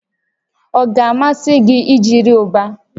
Ọ ga-amasị gị ijiri Uba?